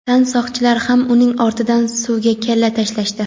tan soqchilar ham uning ortidan suvga kalla tashlashdi.